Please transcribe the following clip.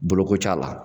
Boloko t'a la